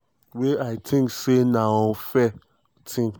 wey i tink say na fair um tin."